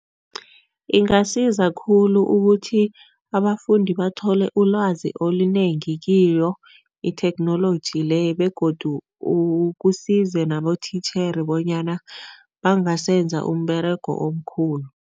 Ingasiza khulu ukuthi abafundi bathole ulwazi olunengi kiyo itheknoloji le begodu kusize nabotitjhere bonyana bangasenza umberego omkhulu.